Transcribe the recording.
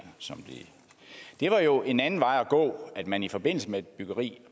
det er jo en anden vej at gå at man i forbindelse med et byggeri